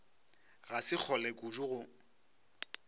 ga se kgole kudu go